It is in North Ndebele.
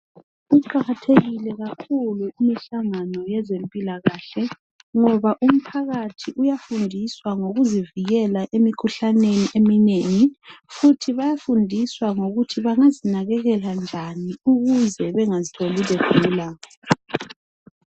Iqakathekile kakhulu imihlangano yezempilakahle ngoba umphakathi uyafundiswa ngokuzivikela emikhuhlaneni eminengi futhi bayafundiswa ngokuthi bangazinakekela njani ukuze bengazitholi begula.